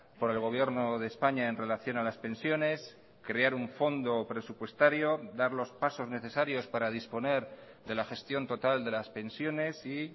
por el gobierno de españa en relación a las pensiones crear un fondo presupuestario dar los pasos necesarios para disponer de la gestión total de las pensiones y